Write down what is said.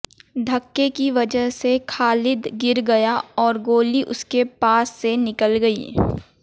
धक्के की वजह से खालिद गिर गया और गोली उसके पास से निकल गई